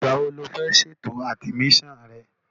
Ìgbà wo ni o fẹ́ ṣe ètò àdìmísàn rẹ?